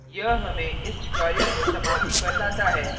यह हमें इस tutorial की समाप्ति पर लाता है